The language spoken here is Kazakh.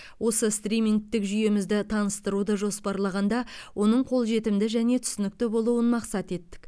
осы стримингтік жүйемізді таныстыруды жоспарлағанда оның қолжетімді және түсінікті болуын мақсат еттік